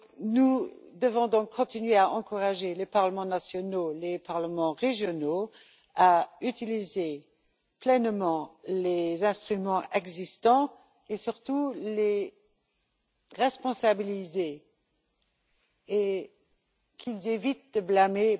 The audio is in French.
Nous devons donc continuer à encourager les parlements nationaux et les parlements régionaux à utiliser pleinement les instruments existants, et nous devons, surtout, les responsabiliser et faire